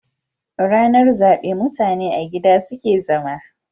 Rana zabe mutane a gida suke zama.